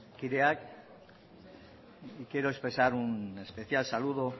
kideak quiero expresar un especial saludo